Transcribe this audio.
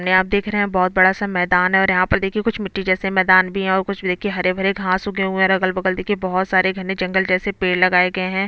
ने आप देख रहे है बहुत बड़ा सा मैदान है और यहाँ पे देखिये कुछ मिट्टी जैसे मैदान भी है और कुछ हरे- भरे घास उगे हुए है और अगल बगल देखिये बहुत सारे घने जंगल जैसे पेड़ लगाये गए है।